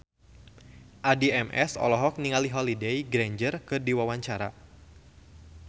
Addie MS olohok ningali Holliday Grainger keur diwawancara